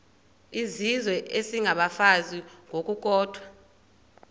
izizwe isengabafazi ngokukodwa